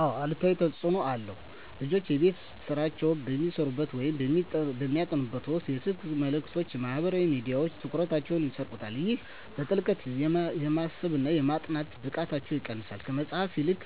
አዎ አሉታዊ ተፅኖ አለው። ልጆች የቤት ሥራቸውን በሚሠሩበት ወይም በሚያጠኑበት ወቅት የስልክ መልእክቶችና ማኅበራዊ ሚዲያዎች ትኩረታቸውን ይሰርቁታል። ይህም በጥልቀት የማሰብና የማጥናት ብቃታቸውን ይቀንሰዋል። ከመጽሐፍት ይልቅ